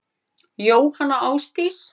Jóhanna Ásdís.